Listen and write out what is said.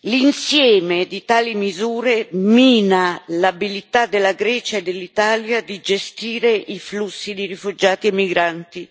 L'insieme di tali misure mina l'abilità della Grecia e dell'Italia di gestire i flussi di rifugiati e migranti.